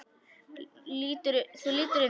Þú lítur undan.